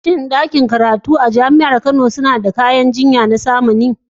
Shin ɗakunan karatun da ke Jami'ar Kano suna da kayan aikin jiyya na zamani?